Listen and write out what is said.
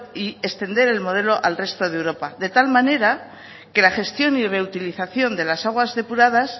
y extender el modelo al resto de europa de tal manera que la gestión y reutilización de las aguas depuradas